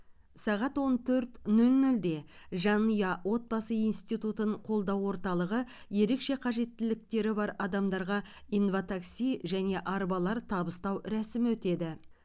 сағат он төрт нөл нөлде жанұя отбасы институтын қолдау орталығы ерекше қажеттіліктері бар адамдарға инватакси және арбалар табыстау рәсімі өтеді